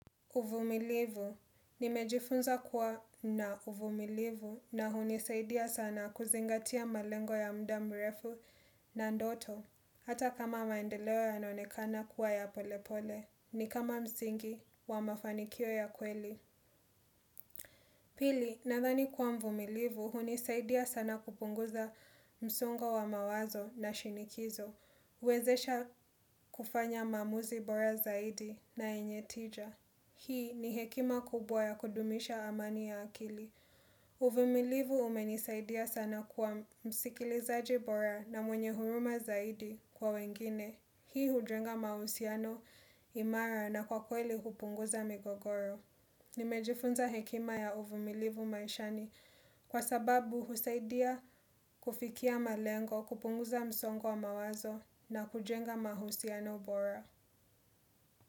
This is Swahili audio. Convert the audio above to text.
Uvumilivu. Nimejifunza kuwa na uvumilivu na hunisaidia sana kuzingatia malengo ya muda mrefu na ndoto, hata kama maendeleo yanaonekana kuwa ya polepole, ni kama msingi wa mafanikio ya kweli. Pili, nadhani kuwa mvumilivu, hunisaidia sana kupunguza msongo wa mawazo na shinikizo. Kuwezesha kufanya maamuzi bora zaidi na yenye tija. Hii ni hekima kubwa ya kudumisha amani ya akili. Uvumilivu umenisaidia sana kuwa msikilizaji bora na mwenye huruma zaidi kwa wengine. Hii hujenga mahusiano, imara na kwa kweli hupunguza migogoro. Nimejifunza hekima ya uvumilivu maishani kwa sababu husaidia kufikia malengo, kupunguza msongo wa mawazo na kujenga mahusiano bora.